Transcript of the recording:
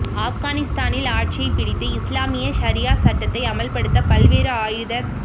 ஆப்கானிஸ்தானில் ஆட்சியைப் பிடித்து இஸ்லாமிய ஷரியா சட்டத்தை அமல்படுத்த பல்வேறு ஆயுதத்